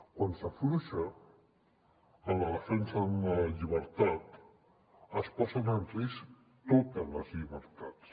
quan s’afluixa en la defensa d’una llibertat es posen en risc totes les llibertats